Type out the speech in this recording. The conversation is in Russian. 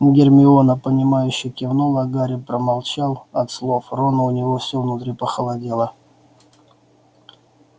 гермиона понимающе кивнула а гарри промолчал от слов рона у него всё внутри похолодело